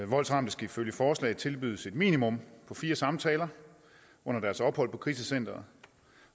voldsramte skal ifølge forslaget tilbydes et minimum på fire samtaler under deres ophold på krisecenteret